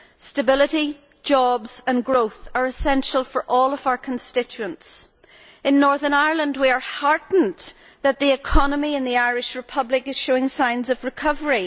Stability, jobs and growth are essential for all of our constituents. In Northern Ireland we are heartened that the economy in the Irish Republic is showing signs of recovery.